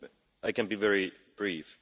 I can be very brief.